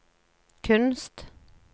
kunst